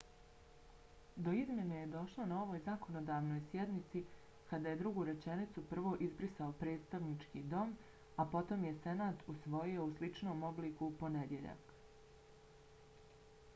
do izmjene je došlo na ovoj zakonodavnoj sjednici kada je drugu rečenicu prvo izbrisao predstavnički dom a potom je senat usvojio u sličnom obliku u ponedjeljak